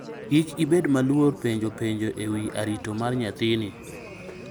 Gik ibed ma oluor penjo penjo e wi arito mar nyathini